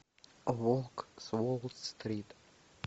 волк с уолл стрит